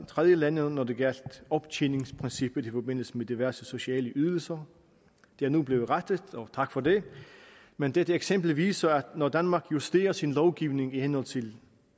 tredjelande når det gjaldt optjeningsprincippet i forbindelse med diverse sociale ydelser det er nu blevet rettet tak for det men dette eksempel viser at når danmark justerer sin lovgivning i henhold til